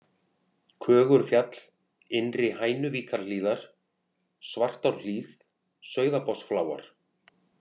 Kögurfjall, Innri-Hænuvíkurhlíðar, Svartárhlíð, Sauðabotnsfláar